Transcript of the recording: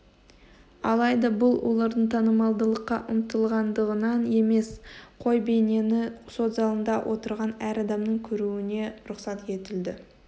алайда бұл олардың танымалдылыққа ұмтылғандығынан емес қой бейнені сот залында отырған әр адамның көруіне рұқсат етілді